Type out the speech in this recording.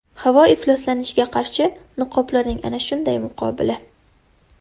Havo ifloslanishiga qarshi niqoblarning ana shunday muqobili.